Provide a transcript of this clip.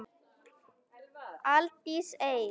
Aldís Eir.